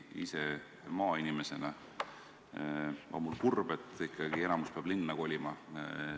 Ise maainimesena olen seda vaadates kurb, et ikkagi enamik peab linna kolima.